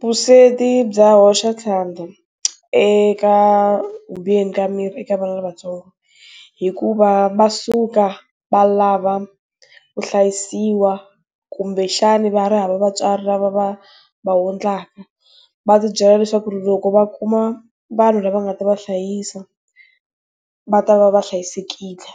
Vusweti bya hoxa xandla, eka ku biheni ka mirhi eka vana lavatsongo. Hikuva va suka, va lava, ku hlayisiwa, kumbexani va ha ri hava vatswari lava va va ondlaka. Va ti byela leswaku loko va kuma vanhu lava nga ta va hlayisa, va ta va va hlayisekile.